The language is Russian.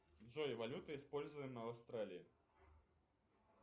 джой валюта используемая в австралии